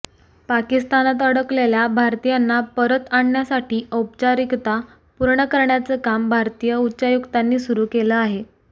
पाकिस्तानात अडकलेल्या भारतीयांना परत आणण्यासाठी औपचारिकता पूर्ण करण्याचं काम भारतीय उच्चायुक्तांनी सुरू केलं आहे